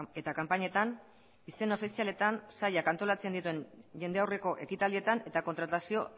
eta kanpainetan izen ofizialetan sailak antolatzen dituen jende aurreko ekitaldietan eta kontratazio